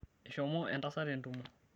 eshomo entasat entumo